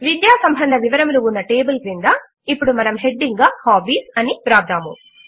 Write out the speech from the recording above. విద్యా సంబంధ వివరములు ఉన్న టేబుల్ క్రింద ఇప్పుడు మనము హెడింగ్ గా హాబీస్ అని వ్రాద్దాము